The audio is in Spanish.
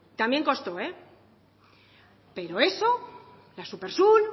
también costó pero eso la súpersur